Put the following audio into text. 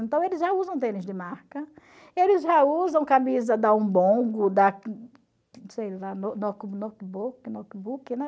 Então, eles já usam tênis de marca, eles já usam camisa da da, sei lá,